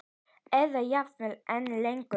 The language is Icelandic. Eða jafnvel enn lengur.